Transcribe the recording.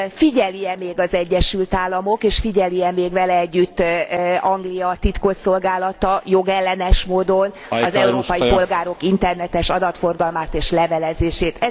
Figyeli e még az Egyesült Államok és figyeli e még vele együtt Anglia titkosszolgálata jogellenes módon az európai polgárok internetes adatforgalmát és levelezését.